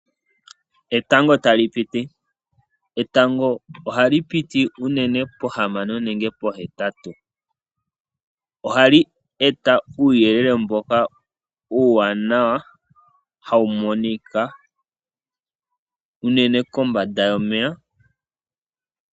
Etango tali piti, etango ohali piti unene pohamano nenge po heyali. Ohali eta uuyelele mboka uuwanawa hawu monika unene kombanda yomeya.